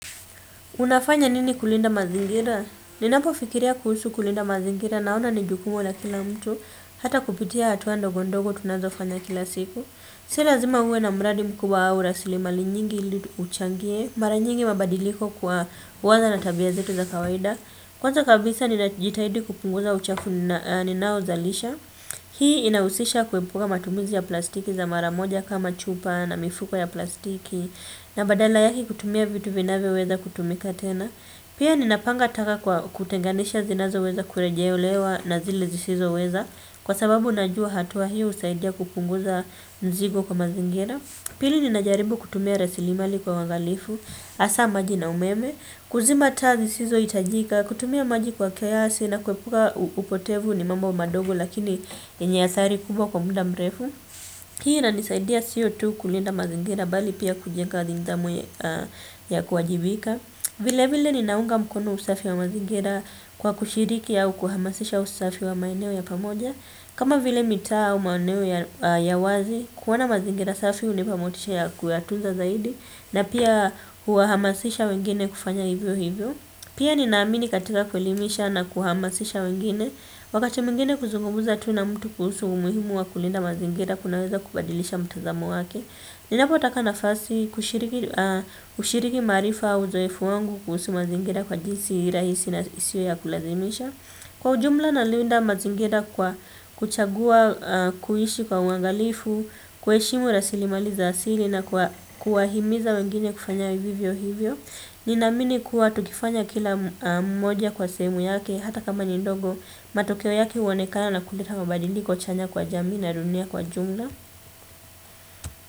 Unafanya nini kulinda mazingira? Ninapo fikiria kuhusu kulinda mazingira naona ni jukumu la kila mtu. Hata kupitia hatua ndo gondogo tunazo fanya kila siku. Silazima uwe na mradi mkubwa au rasili mali nyingi uchangie. Mara nyingi mabadiliko kwa huwanza na tabia zetu za kawaida. Kwanza kabisa ninajitahidi kupunguza uchafu ninao zalisha. Hii inausisha kuepuka matumizi ya plastiki za mara moja kama chupa na mifuko ya plastiki. Na badala yake kutumia vitu vinavyoweza kutumika tena pia ninapanga taka kwa kutenganisha zinazo weza kureje olewa na zile zisizo weza kwa sababu najua hatuwa hiu usaidia kupunguza nzigo kwa mazingira. Pili ninajaribu kutumia resilimali kwa wangalifu. Asa maji na umeme kuzima tazi zisizo itajika kutumia maji kwa kiasi na kwepuka upotevu ni mambo madogo lakini yenye athari kubwa kwa muda mrefu. Hii na nisaidia sio tu kulinda mazingira bali pia kujenga nidamu ya kuwajibika. Vile vile ninaunga mkono usafi wa mazingira kwa kushiriki au kuhamasisha usafi wa maeneo ya pamoja kama vile mita au maoneo ya wazi, kuwana mazingira usafi unipamotisha ya kuatuzza zaidi na pia huahamasisha wengine kufanya hivyo hivyo. Pia ninaamini katika kuelimisha na kuhamasisha wengine. Wakati mingine kuzugumuza tu na mtu kuhusu umuhimu wa kulinda mazingira kunaweza kubadilisha mtazamo wake. Ninapotaka na fasi kushiriki marifa uzoefu wangu kuhusu mazingira kwa jinsi rahisi na isio ya kulazimisha. Kwa ujumla nalinda mazingira kwa kuchagua kuishi kwa uangalifu kuheshimu rasilimali za asili na kuwahimiza wengine kufanya vivyo hivyo. Ninamini kuwa tukifanya kila mmoja kwa semu yake hata kama nindogo matokeo yake uonekana na kuleta mabadiliko chanya kwa jamii na dunia kwa jumla.